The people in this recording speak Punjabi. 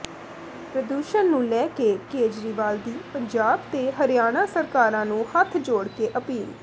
ਪ੍ਰਦੂਸ਼ਣ ਨੂੰ ਲੈ ਕੇ ਕੇਜਰੀਵਾਲ ਦੀ ਪੰਜਾਬ ਤੇ ਹਰਿਆਣਾ ਸਰਕਾਰਾਂ ਨੂੰ ਹੱਥ ਜੋੜ ਕੇ ਅਪੀਲ